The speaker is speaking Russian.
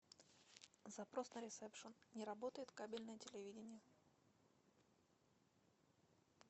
запрос на ресепшн не работает кабельное телевидение